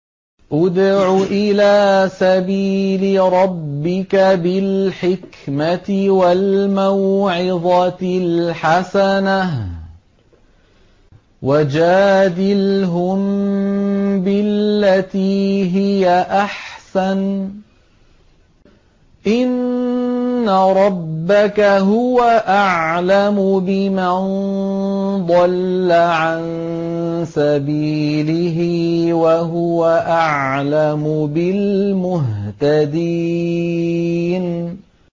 ادْعُ إِلَىٰ سَبِيلِ رَبِّكَ بِالْحِكْمَةِ وَالْمَوْعِظَةِ الْحَسَنَةِ ۖ وَجَادِلْهُم بِالَّتِي هِيَ أَحْسَنُ ۚ إِنَّ رَبَّكَ هُوَ أَعْلَمُ بِمَن ضَلَّ عَن سَبِيلِهِ ۖ وَهُوَ أَعْلَمُ بِالْمُهْتَدِينَ